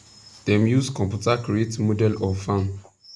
dem use computer create model of farm